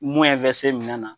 Mun minɛn na.